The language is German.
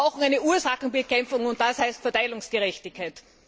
Aber wir brauchen eine Ursachenbekämpfung, und das heißt Verteilungsgerechtigkeit!